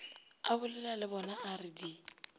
abolela le bonaa re di